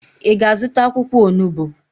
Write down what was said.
Ị ga-azụta akwụkwọ onubo?